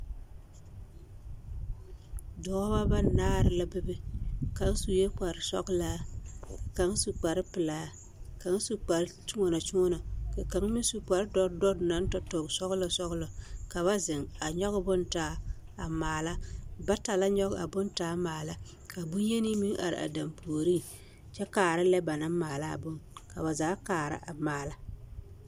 Dɔbɔ banaare la bebe kaŋ sue kpare sɔgelaa ka kaŋ su kpare pelaa ka kaŋ su kpare kyoɔnɔ-kyoɔnɔ ka kaŋ meŋ su kpare dɔte dɔte naŋ tõɔ sɔgelɔ sɔgelɔ ka ba zeŋ a nyɔge bone taa a maala bata la nyɔge a bone taa maala ka bonyeni meŋ are a dampuoriŋ kyɛ kaara lɛ ba naŋ maala a bone ka ba zaa kaara a maala.